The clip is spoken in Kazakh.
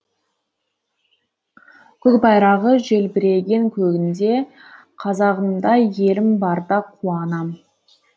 көк байрағы желбіреген көгінде қазағымдай елім барда қуанам